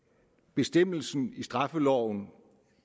bestemmelsen i straffeloven